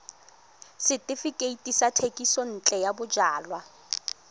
setefikeiti sa thekisontle ya bojalwa